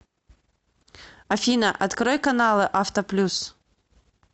афина открой каналы авто плюс